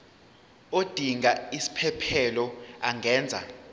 odinga isiphesphelo angenza